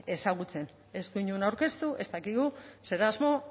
ezagutzen ez du inon aurkeztu ez dakigu zer asmo